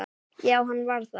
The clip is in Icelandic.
Já, hann var það.